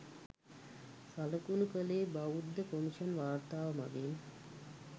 සළකුණු කළේ බෞද්ධ කොමිෂන් වාර්තාව මඟිනි